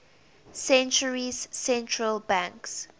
centuries central banks